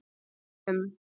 Nú um